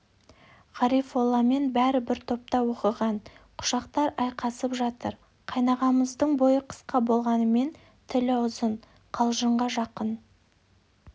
ғарифолламен бәрі бір топта оқыған құшақтар айқасып жатыр қайнағамыздың бойы қысқа болғанымен тілі ұзын қалжыңға жақын